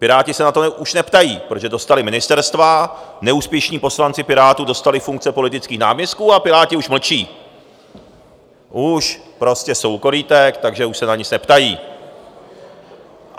Piráti se na to už neptají, protože dostali ministerstva, neúspěšní poslanci Pirátů dostali funkce politických náměstků, a Piráti už mlčí, už prostě jsou u korýtek, takže už se na nic neptají.